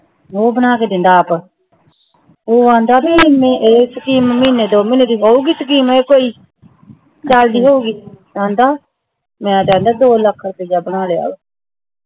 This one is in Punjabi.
ਊ ਬਣਾ ਕੇ ਦਿੰਦਾ ਆਪ